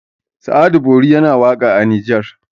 sa'adu bori yana waka a nijar